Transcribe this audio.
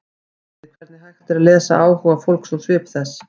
Skrýtið hvernig hægt er að lesa áhuga fólks úr svip þess.